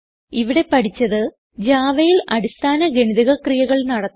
ഇവിടെ പഠിച്ചത് javaയിൽ അടിസ്ഥാന ഗണിതക ക്രിയകൾ നടത്തുന്നത്